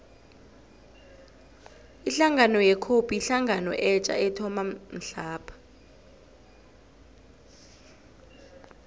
ihlangano ye cope yihlangano etja ethoma mhlapha